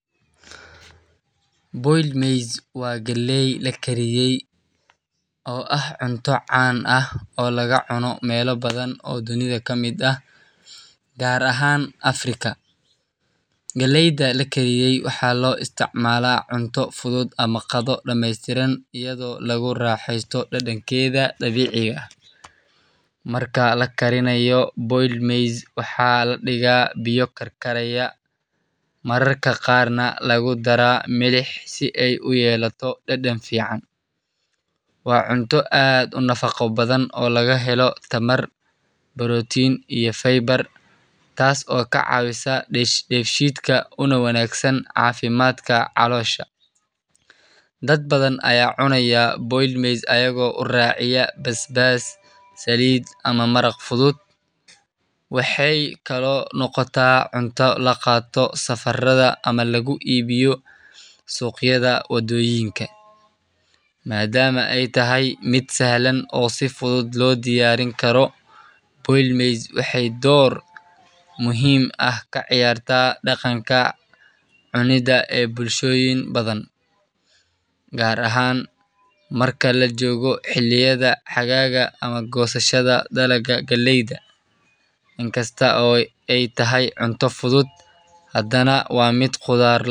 boiled maize waa galley la kariyey oo ah cunto caan ah oo laga cuno meelo badan oo dunida ka mid ah, gaar ahaan Afrika. Galleyda la kariyey waxaa loo isticmaalaa cunto fudud ama qado dhameystiran iyadoo lagu raaxeysto dhadhankeeda dabiiciga ah. Marka la karinayo, boiled maize waxaa la dhigaa biyo karkaraya, mararka qaarna lagu daraa milix si ay u yeelato dhadhan fiican. Waa cunto aad u nafaqo badan oo laga helo tamar, borotiin, iyo fiber, taasoo ka caawisa dheefshiidka una wanaagsan caafimaadka caloosha. Dad badan ayaa cunaya boiled maize ayagoo u raaciya basbaas, saliid, ama maraq fudud. Waxay kaloo noqotaa cunto la qaato safarrada ama lagu iibiyo suuqyada waddooyinka, maadaama ay tahay mid sahlan oo si fudud loo diyaarin karo. Boiled maize waxay door muhiim ah ka ciyaartaa dhaqanka cunidda ee bulshooyin badan, gaar ahaan marka la joogo xilliyada xagaaga ama goosashada dalagga galleyda. Inkasta oo ay tahay cunto fudud, haddana waa mid qudaar la’aan.